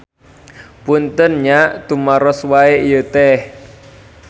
Punten nya tumaros wae ieu teh.